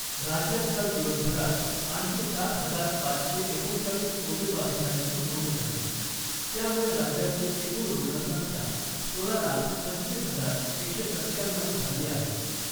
राज्यात काल दिवसभरात आणखी सात हजार पाचशे एकोणचाळीस कोविड बाधितांची नोंद झाली , त्यामुळे राज्यातली एकूण रुग्णसंख्या सोळा लाख पंचवीस हजार एकशे सत्त्याण्णऊ झाली आहे .